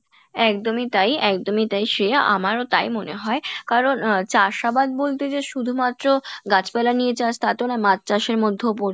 একদমই তাই একদমই তাই শ্রেয়া আমারও তাই মনে হয় কারন আহ চাষআবাদ বলতে যে শুধুমাএ গাছ পালা নিয়ে চাষ তা তো না, মাছচাষের মধ্যেও